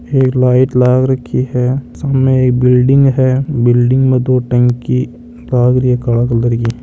एक लाइट लाग रखी है सामे एक बिल्डिंग है बिल्डिंग में दो टंकी लाग री है काळा कलर की।